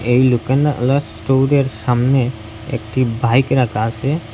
এই লোকনাআলা স্টোরের সামনে একটি বাইক রাখা আসে।